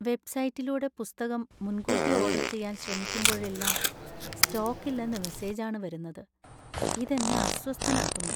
വെബ്സൈറ്റിലൂടെ പുസ്തകം മുൻകൂട്ടി ഓർഡർ ചെയ്യാൻ ശ്രമിക്കുമ്പോഴെല്ലാം, സ്റ്റോക്ക് ഇല്ലെന്ന മെസ്സേജ് ആണ് വരുന്നത്, ഇത് എന്നെ അസ്വസ്ഥനാക്കുന്നു.